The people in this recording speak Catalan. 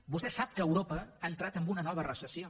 vostè sap que europa ha entrat en una nova recessió